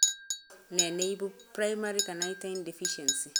Nee neibu primary carnitine deficiency?